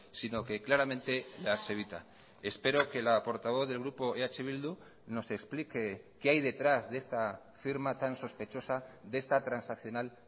sino que claramente las evita espero que la portavoz del grupo eh bildu nos explique qué hay detrás de esta firma tan sospechosa de esta transaccional